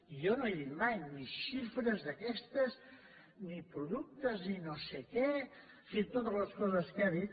jo no he dit mai ni xifres d’aquestes ni productes ni no sé què en fi totes les coses que ha dit